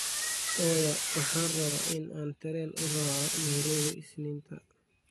oya waxaan rabaa in aan tareen u raaco nairobi isniinta